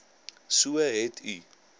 so u het